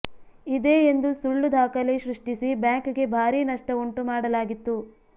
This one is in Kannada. ಇದೇ ಎಂದು ಸುಳ್ಳು ದಾಖಲೆ ಸೃಷ್ಟಿಸಿ ಬ್ಯಾಂಕ್ಗೆ ಭಾರಿ ನಷ್ಟ ಉಂಟು ಮಾಡಲಾಗಿತ್ತು